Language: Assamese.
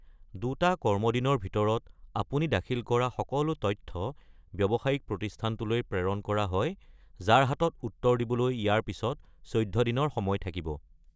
দুটা কৰ্মদিনৰ ভিতৰত আপুনি দাখিল কৰা সকলো তথ্য ব্যৱসায়িক প্ৰতিস্থানটোলৈ প্ৰেৰণ কৰা হয়, যাৰ হাতত উত্তৰ দিবলৈ ইয়াৰ পিছত ১৪ দিনৰ সময় থাকিব।